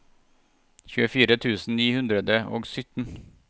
tjuefire tusen ni hundre og sytten